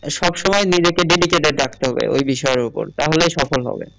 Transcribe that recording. সব সময় নিজেকে dedicated রাখতে হবে ঐ বিষয়ের উপর তাহলে সফল হবে